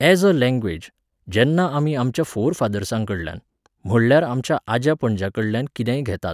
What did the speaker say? यॅज a language, जेन्ना आमी आमच्या फोरफादर्सांकडल्यान, म्हणल्यार आमच्या आज्या पणज्या कडल्यान कितेंय घेतात